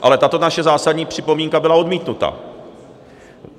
Ale tato naše zásadní připomínka byla odmítnuta.